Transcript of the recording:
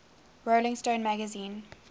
rolling stone magazine